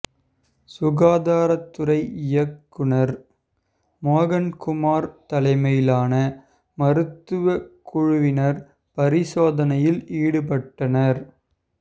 சுகாதாரத்துறை இயக்குனர் மோகன்குமார் தலைமையிலான மருத்துவ குழுவினர் பரிசோதனையில் ஈடுபட்டனர்